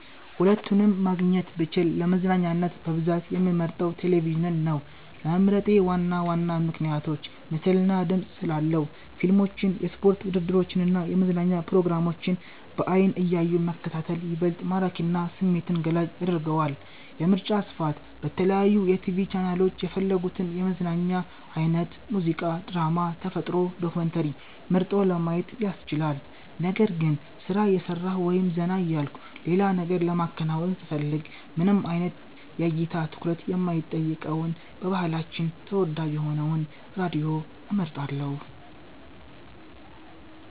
ሁለቱንም ማግኘት ብችል፣ ለመዝናኛነት በብዛት የምመርጠው ቴሌቪዥንን ነው። ለመምረጤ ዋና ዋና ምክንያቶች፦ ምስልና ድምጽ ስላለው፦ ፊልሞችን፣ የስፖርት ውድድሮችን እና የመዝናኛ ፕሮግራሞችን በዓይን እያዩ መከታተል ይበልጥ ማራኪና ስሜትን ገላጭ ያደርገዋል። የምርጫ ስፋት፦ በተለያዩ የቲቪ ቻናሎች የፈለጉትን የመዝናኛ አይነት (ሙዚቃ፣ ድራማ፣ ተፈጥሮ ዶክመንተሪ) መርጦ ለማየት ያስችላል። ነገር ግን፣ ስራ እየሰራሁ ወይም ዘና እያልኩ ሌላ ነገር ለማከናወን ስፈልግ፣ ምንም አይነት የእይታ ትኩረት የማይጠይቀውንና በባህላችን ተወዳጅ የሆነውን ራዲዮን እመርጣለሁ።